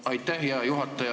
Aitäh, hea juhataja!